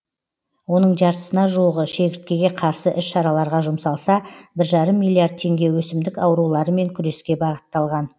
оның жартысына жуығы шегірткеге қарсы іс шараларға жұмсалса бір жарым миллиард теңге өсімдік ауруларымен күреске бағытталған